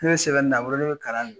sɛbɛnni na a bolo ne bɛ kalan